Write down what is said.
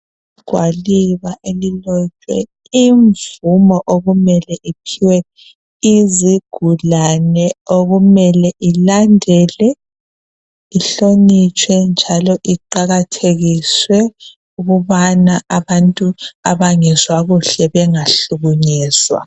Igwaliba elilotshwe imvumo okumele iphiwe izigulane. Okumele ilandelwe, ihlonitshwe njalo iqakathekiswe ukubana abantu abangezwa kuhle bengahlukunyezwa.